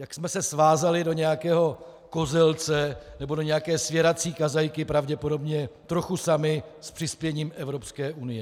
Jak jsme se svázali do nějakého kozelce nebo do nějaké svěrací kazajky pravděpodobně trochu sami s přispěním Evropské unie?